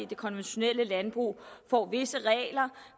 det konventionelle landbrug får visse regler